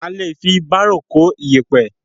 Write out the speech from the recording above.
A lè fi bárò kó iyẹ̀pẹ̀.